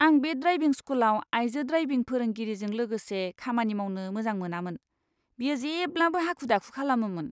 आं बे ड्राइभिं स्कूलआव आइजो ड्राइभिं फोरोंगिरिजों लोगोसे खामानि मावनो मोजां मोनामोन। बियो जेब्लाबो हाखु दाखु खालामोमोन!